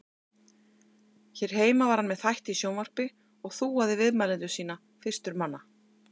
Hér heima var hann með þætti í sjónvarpi og þúaði viðmælendur sína fyrstur manna.